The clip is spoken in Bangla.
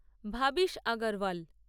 ভাবিশ আগারওয়াল